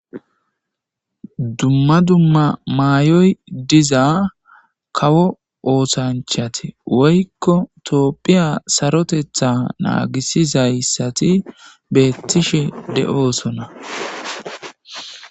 Dumma dumma maayoy diza kawo ooshanchate woykko toopphiya sarotetha naagisizayssati beettishe de7oosona.